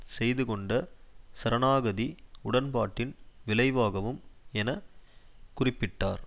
செய்து கொண்ட சரணாகதி உடன்பாட்டின் விளைவாகவும் என குறிப்பிட்டார்